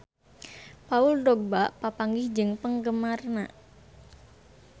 Paul Dogba papanggih jeung penggemarna